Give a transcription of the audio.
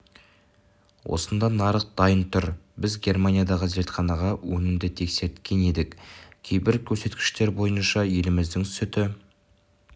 осында нарық дайын тұр біз германиядағы зертханаға өнімді тексерткен едік кейбір көрсеткіштер бойынша еліміздің сүті